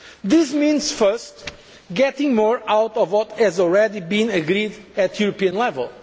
should. This means firstly getting more out of what has already been agreed at